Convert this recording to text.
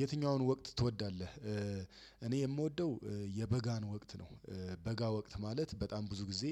የትኛውን ወቅት ትወዳለህ? እኔ የምወደው የበጋን ወቅት ነው። በጋ ወቅት ማለት በጣም ብዙ ጊዜ